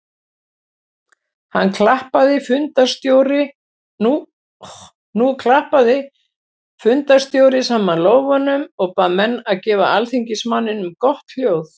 Nú klappaði fundarstjóri saman lófunum og bað menn að gefa alþingismanninum gott hljóð.